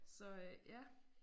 Så øh ja